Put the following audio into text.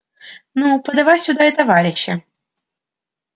ну подавай сюда и товарища